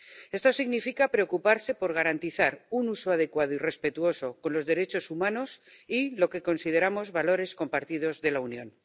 Esto significa preocuparse por garantizar un uso adecuado y respetuoso con los derechos humanos y lo que consideramos valores compartidos de la Unión.